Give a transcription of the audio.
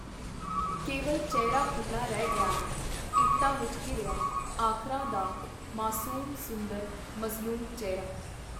ਕੇਵਲ ਚਿਹਰਾ ਖੁਲ੍ਹਾ ਰਹਿ ਗਿਆ ਹੈ - ਇੱਟਾਂ ਵਿਚ ਘਿਰਿਆ, ਆਖਰਾਂ ਦਾ ਮਾਸੂਮ, ਸੁੰਦਰ, ਮਜ਼ਲੂਮ ਚਿਹਰਾ.